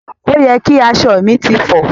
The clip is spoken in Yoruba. Òye ki aṣọ mi ti fọ.